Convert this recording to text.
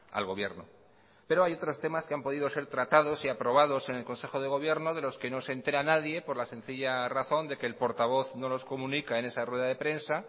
al gobierno pero hay otros temas que han podido ser tratados y aprobados en el consejo de gobierno de los que no se entera nadie por la sencilla razón de que el portavoz no los comunica en esa rueda de prensa